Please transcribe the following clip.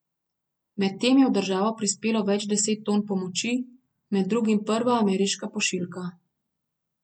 Medtem je v državo prispelo več deset ton pomoči, med drugim prva ameriška pošiljka.